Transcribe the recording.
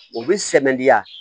U bɛ sɛmɛnidiya